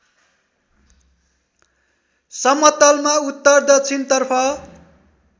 समतलमा उत्तर दक्षिणतर्फ